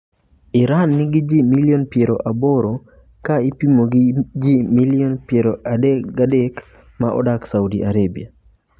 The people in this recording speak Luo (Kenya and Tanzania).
Iran nigi ji milion 80 kaipimo gi milion 33 maodak Saudi Arabia .